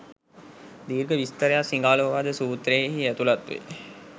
දීර්ඝ විස්තරයක් සිගාලෝවාද සූත්‍රයෙහි ඇතුළත්වේ